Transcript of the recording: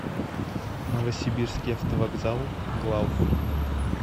новосибирский автовокзал главный